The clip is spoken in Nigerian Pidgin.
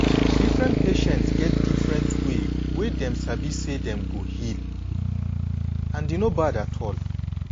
different patient get different way wey dem sabi say dem go heal and e no bad at all.